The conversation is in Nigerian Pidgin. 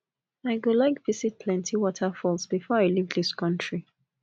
i go like visit plenty waterfalls before i leave this country